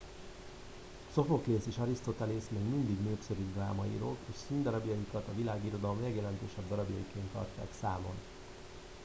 szophoklész és arisztotelész még mindig népszerű drámaírók és színdarabjaikat a világirodalom legjelentősebb darabjaiként tartják számon